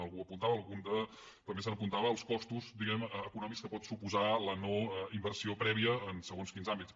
algú ho apuntava algú també apuntava els costos diguem ne econòmics que pot suposar la no inversió prèvia en segons quins àmbits